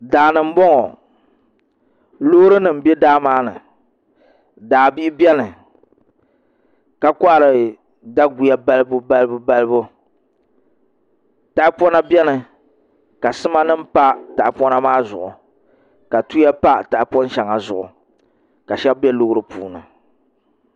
Daani n boŋo loori nim bɛ daa maa ni daa bia biɛni ka kohari daguya balibu balibu balibu tahapona biɛni ka sima nim pa tahapona maa zuɣu ka tuya pa tahapon shɛŋa zuɣu ka shab bɛ loori puuni